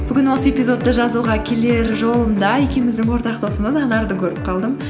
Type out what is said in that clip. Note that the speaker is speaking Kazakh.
бүгін осы эпизодты жазуға келер жолымда екеуміздің ортақ досымыз анарды көріп қалдым